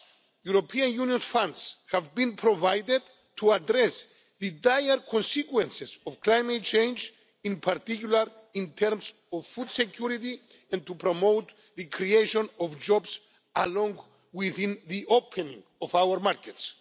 European Union funds have been provided to address the dire consequences of climate change, in particular in terms of food security, and to promote the creation of jobs, along with the opening of our markets.